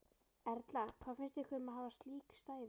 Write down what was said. Erla: Hvað finnst ykkur um að hafa slík stæði?